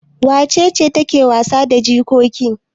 Wace ce take wasa da jikoki?